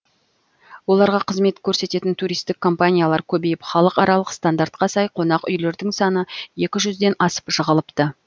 оларға қызмет көрсететін туристік компаниялар көбейіп халықаралық стандартқа сай қонақүйлердің саны екі жүзден асып жығылыпты